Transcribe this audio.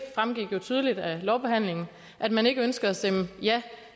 fremgik jo tydeligt af lovbehandlingen at man ikke ønskede at stemme ja